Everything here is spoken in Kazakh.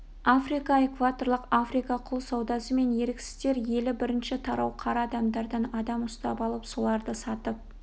африка экваторлық африка құл саудасы мен еріксіздер елі бірінші тарау қара адамдардан адам ұстап алып соларды сатып